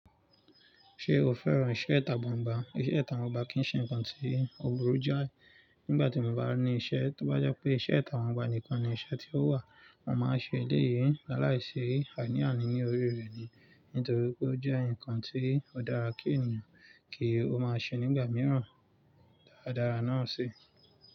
Ṣé o fẹ́ràn iṣẹ́ ìtagbangba? Iṣẹ́ ìtagbangbà kì í ṣe nǹkan tí ó burú jáì. Nígbà tí mo bá ní iṣẹ́, tó bá jẹ́ pé iṣẹ́ atàgbaǹgbà nìkan ni iṣẹ́ tí ó wà, mo máa ṣe eléyìí. Lálàíṣe àní-àní ní orí rẹ̀ ni, nítorí pé ó jẹ́ ǹkan tí ó dára kí ènìyàn kí ó máa ṣe nígbà mìíràn. Dáradára náà sì.